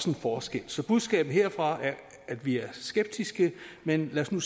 en forskel så budskabet herfra er at vi er skeptiske men lad os nu